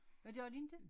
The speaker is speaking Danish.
Hvad gør de ikke